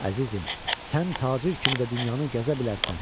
Əzizim, sən tacir kimi də dünyanı gəzə bilərsən,